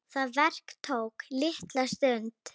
Það verk tók litla stund.